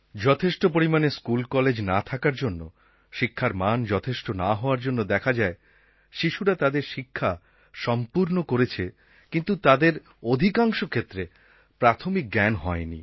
যথেষ্ট পরিমানে স্কুলকলেজ না থাকার জন্য শিক্ষার মান যথেষ্ট না হওয়ার জন্য দেখা যায় শিশুরা তাদের শিক্ষা সম্পূর্ণ করেছে কিন্তু তাদের অক্ষরশিক্ষা প্রাথমিক জ্ঞান হয়নি